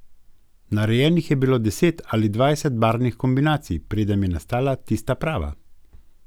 Narejenih je bilo deset ali dvajset barvnih kombinacij, preden je nastala tista prava.